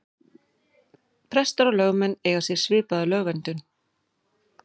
Prestar og lögmenn eiga sér svipaða lögverndun.